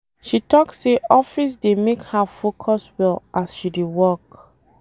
She tok sey office dey make her focus well as she dey work.